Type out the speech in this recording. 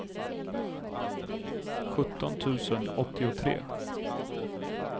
sjutton tusen åttiotre